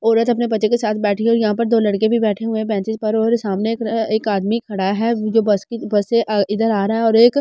औरत अपने बच्चे के साथ बैठी हैं यहाँ पर दो लड़के भी बैठे हुए बेंचेस पर और सामने एक अ एक आदमी खड़ा हैं जो बस की बस से अ इधर आ रहा हैं और एक बस --